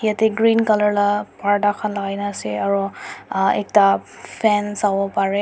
yate green colour laga purdha khan lagaina ase aro uhh ekta ffan savo pare--